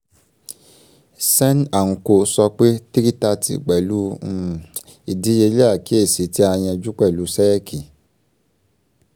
sen um & co sọ pé 330 pẹ̀lú um ìdíyelé àkíyèsí tí a yanjú pẹ̀lú ṣẹ́ẹ̀kì